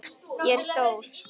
Ég er stór.